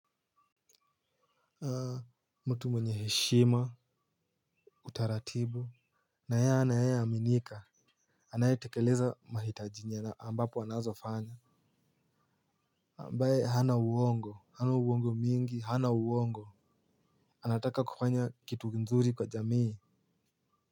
Haa mtu mwenye heshima utaratibu na anayeaminika anaitekeleza mahitaji ambapo anazofanya ambaye hana uongo hana uongo mingi hana uongo anataka kufanya kitu nzuri kwa jamii.